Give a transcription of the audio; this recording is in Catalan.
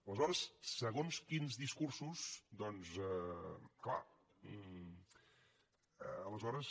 aleshores segons quins discursos doncs clar aleshores